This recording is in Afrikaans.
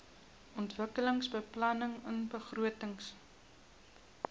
ontwikkelingsbeplanningbegrotings